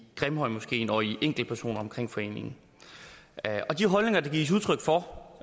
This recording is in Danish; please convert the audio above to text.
grimhøjmoskeen og af enkeltpersoner omkring foreningen og de holdninger der gives udtryk for